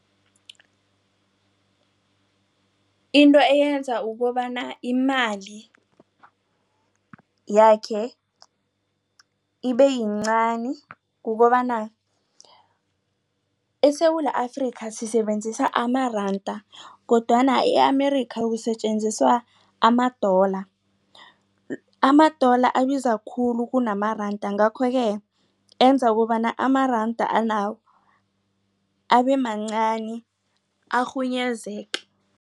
Into eyenza ukobana imali yakhe ibeyincani kukobana eSewula Afrika sisebenzisa amaranda kodwana i-Amerika ukusetjenziswa ama-dollar. Ama-dollar abiza khulu kunamaranda ngakho-ke enza ukobana amaranda anawo abemancani arhunyezeke.